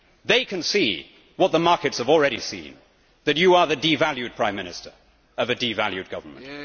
They can see what the markets have already seen that you are the devalued Prime Minister of a devalued Government.